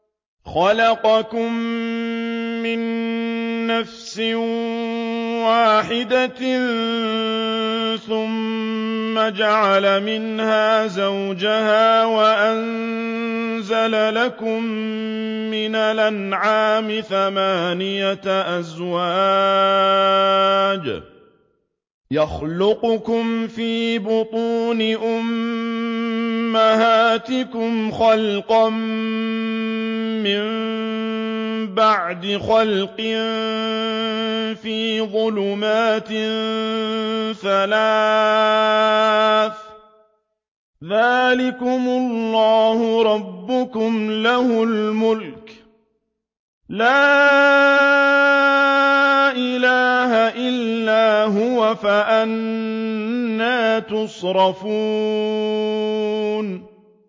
خَلَقَكُم مِّن نَّفْسٍ وَاحِدَةٍ ثُمَّ جَعَلَ مِنْهَا زَوْجَهَا وَأَنزَلَ لَكُم مِّنَ الْأَنْعَامِ ثَمَانِيَةَ أَزْوَاجٍ ۚ يَخْلُقُكُمْ فِي بُطُونِ أُمَّهَاتِكُمْ خَلْقًا مِّن بَعْدِ خَلْقٍ فِي ظُلُمَاتٍ ثَلَاثٍ ۚ ذَٰلِكُمُ اللَّهُ رَبُّكُمْ لَهُ الْمُلْكُ ۖ لَا إِلَٰهَ إِلَّا هُوَ ۖ فَأَنَّىٰ تُصْرَفُونَ